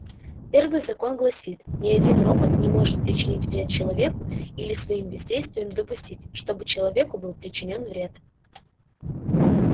первый закон гласит ни один робот не может причинить вред человеку или своим бездействием допустить чтобы человеку был причинён вред